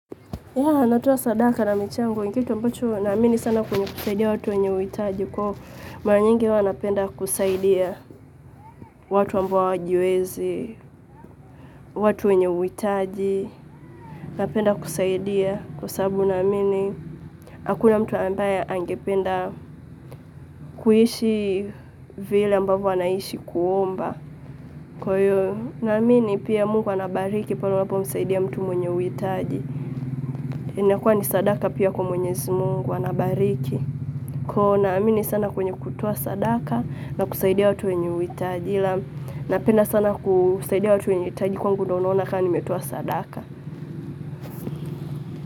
Yeah, natoa sadaka na michango. Ni kitu ambacho, naamini sana kwenye kusaidia watu wenye uhitaji. Kwa mara nyingi huwa napenda kusaidia watu ambao hawajiwezi, watu wenye uhitaji. Napenda kusaidia kwa sababu, naamini, hakuna mtu ambaye angependa kuishi vile ambavyo anaishi kuomba. Kwa hiyo naamini pia Mungu anabariki pale unapomsaidia mtu mwenye uhitaji inakuwa ni sadaka pia kwa mwenyezi Mungu, anabariki. Kwa naamini sana kwenye kutoa sadaka na kusaidia watu wenye uhitaji ila napenda sana kusaidia watu wenye uhitaji kuwa ndo naona ka nimetoa sadaka.